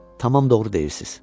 tamam doğru deyirsiz.